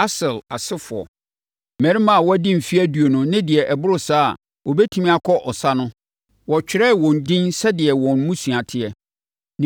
Aser asefoɔ: Mmarima a wɔadi mfeɛ aduonu ne deɛ ɛboro saa a wɔbɛtumi akɔ ɔsa no, wɔtwerɛɛ wɔn edin sɛdeɛ wɔn mmusua teɛ.